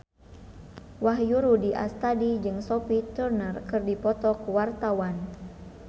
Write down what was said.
Wahyu Rudi Astadi jeung Sophie Turner keur dipoto ku wartawan